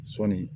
Sɔɔni